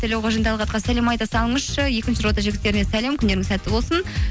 тілеуқожин талғатқа сәлем айта салыңызшы екінші рота жігіттеріне сәлем күндеріңіз сәтті болсын